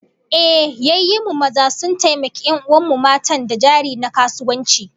Ehh, yayyen mu maza sun taimaki 'yan'uwan mu matan da jari na kasuwanci